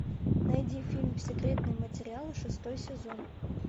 найди фильм секретные материалы шестой сезон